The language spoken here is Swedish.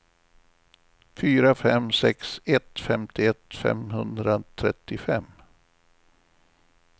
fyra fem sex ett femtioett femhundratrettiofem